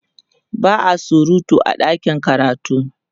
ba'a surutu a ɗakin karatu